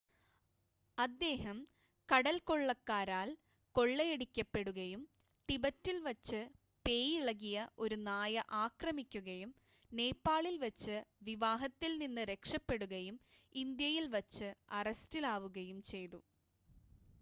അദ്ദേഹം കടൽക്കൊള്ളക്കാരാൽ കൊള്ളയടിക്കപ്പെടുകയും ടിബറ്റിൽ വച്ച് പേയിളകിയ ഒരു നായ ആക്രമിക്കുകയും നേപ്പാളിൽ വച്ച് വിവാഹത്തിൽ നിന്ന് രക്ഷപ്പെടുകയും ഇന്ത്യയിൽ വച്ച് അറസ്റ്റിലാവുകയും ചെയ്തു